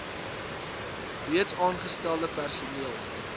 reeds aangestelde personeel